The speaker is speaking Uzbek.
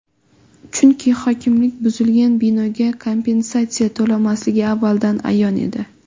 Chunki hokimlik buzilgan binoga kompensatsiya to‘lamasligi avvaldan ayon edi.